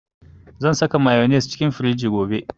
Zan saka mayonnaise cikin firiji gobe